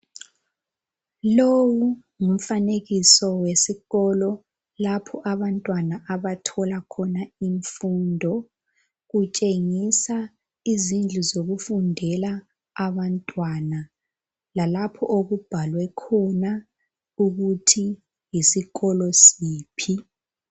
Lowu ngumfanekiso wesikolo lapho abantwana abathola khona imfundo. Utshengisa izindlu zokufundela abantwana lalapho okubhalwe khona ukuthi yisikolo siphi.